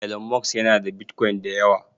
Elon Musk yana da Bitcoin da yawa.